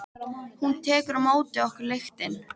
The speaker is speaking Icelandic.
Hún tekur á móti okkur lyktin.